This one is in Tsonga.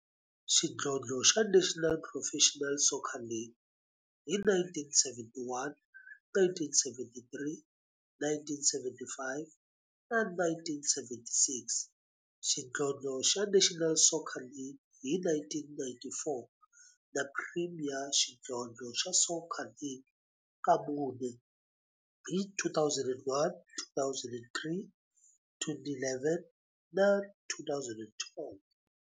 Xidlodlo xa National Professional Soccer League hi 1971, 1973, 1975 na 1976, xidlodlo xa National Soccer League hi 1994, na Premier Xidlodlo xa Soccer League ka mune, hi 2001, 2003, 2011 na 2012.